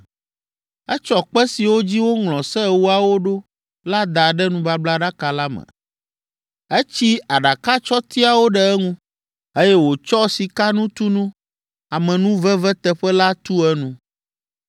Etsɔ kpe siwo dzi woŋlɔ Se Ewoawo ɖo la da ɖe nubablaɖaka la me, etsi aɖakatsɔtiawo ɖe eŋu, eye wòtsɔ sikanutunu, amenuveveteƒe la tu enu.